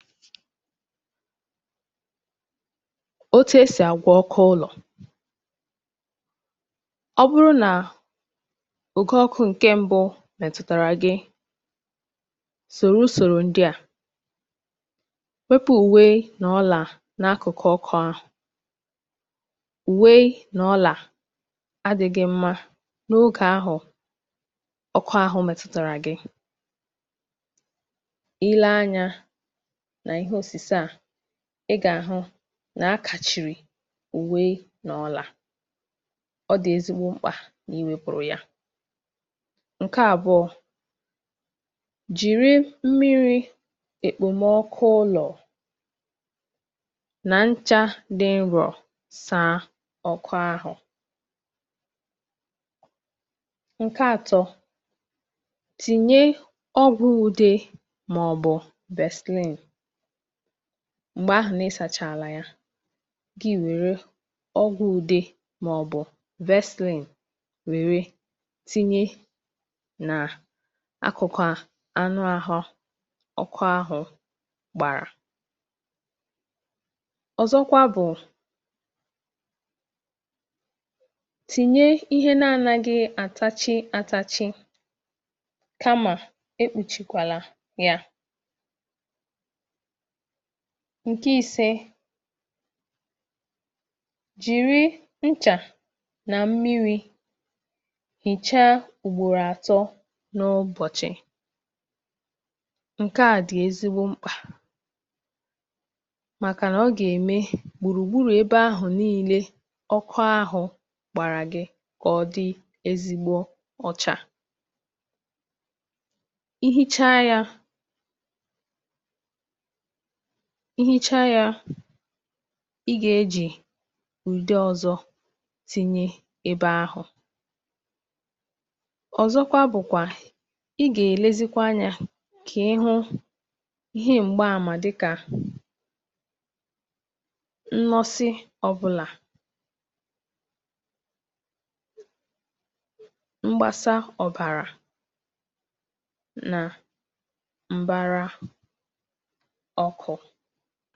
otu e sì àgwọ ọkọ ụlọ̀. ọ bụrụ nà ụ̀kọ ọkụ̄ ǹkẹ mbụ mẹ̀sàrà gị, sòro usòro ndịà. wepù ùwe nà ọlà n’akụ̀kụ̀ ọkụ̄ ahụ̀. ùwe nà ọlà adịghị mma n’ogè ahụ̀ ọkụ ahụ̀ mẹ̀tụ̀tàrà gị. ile anyā nà ihe òsìse à, ị gà àhụ nà akàchìrì ùwe nà ọlà. ọ dị̀ ezigbo mkpà nà iwēpùrù ya. ǹkẹ àbụọ̄, jìri mmirī ǹkẹ èkpomọkụ ụlọ̀ nà nchā dị nrọ̀ sàa ọkụ ahụ̀. ǹkẹ atọ, tìnye ọgwụ ude, mà ọ̀ bụ̀ Vaseline m̀gbè ahụ̀ nà ị sàchàlà ya, kà ị wèe wèru ọgwụ̄ ude, mà ọ̀ bụ̀ Vaseline wẹ̀rẹ tinye nà akụ̀kụ̀ anụ ahụ ọkụ̀ ahụ̀ bàrà. ọ̀zọkwa bụ̀, tìnye ihe na anaghị àtachi atachi, kamà e kpùchikwèlà adhụ yā. ǹkẹ ise, jìri nchà nà mmirī hìcha ugbòrò àtọ n’ụbọ̀chị̀. ǹkẹ à dị̀ ezigbo mkpà, màkà nà ọ gà ème gbùrù gburū ebe ahụ̀ nillē ọkụ ahụ̀ gbàrà gị, kà ọ dị ezigbo ụcha. ihicha yā, ihicha yā, ị gà ejì ùde ọzọ tinye ebe ahụ̀. ọ̀zọkwa bụ̀kwà ị gà èlezi anyā, kà ị hụ ihe m̀gba amà dịkà nnọsị ọbụlà, mgbasa òbàrà nà m̀bara ọkụ̄.